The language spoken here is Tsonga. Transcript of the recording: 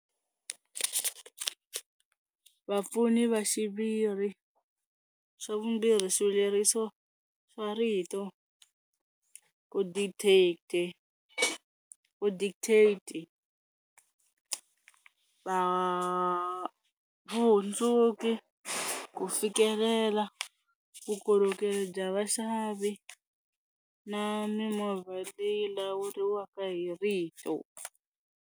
Vapfuni va xiviri swa vumbirhi swileriso swa rito ku dictator vu dictator-ti va vuhundzuki ku fikelela vukorhokeri bya vaxavi na mimovha leyi lawuriwaka hi rito.